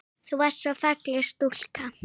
Þú varst svo falleg stúlka.